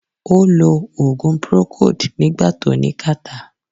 Ó lo ògùn procold nígbà tó ní catarrh